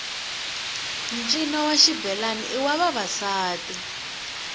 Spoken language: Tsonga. ncino wa xibelani i wa vavasati